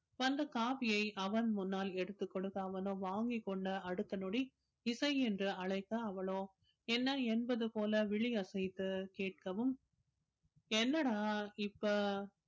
வந்த coffee யை அவன் முன்னால் எடுத்துக் கொடுத்து அவனோ வாங்கிக் கொண்ட அடுத்த நொடி இசை என்று அழைக்க அவளோ என்ன என்பது போல விழி அசைத்து கேட்கவும் என்னடா இப்ப